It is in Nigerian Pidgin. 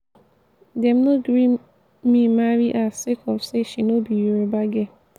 dem no gree me marry her sake of say she no be yoruba girl.